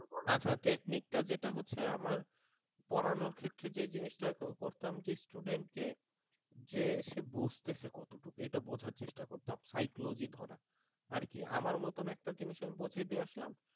আচ্ছা technique টা যেটা হচ্ছে যে আমার পড়ানোর ক্ষেত্রে যে জিনিসটা করতাম যে student কে যে সে বুঝতেছে কতটুকু এটা বোঝার চেষ্টা করতাম psychology ধরা আর কি আমার মতন একটা জিনিস আমি বুঝায় দিয়ে আসলাম